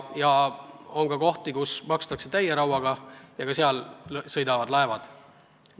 Ja on riike, kus makstakse täie rauaga, ja ka nende lipu all sõidavad laevad.